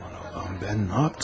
Aman Allahım, mən nə etdim?